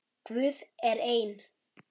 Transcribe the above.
Guð er einn.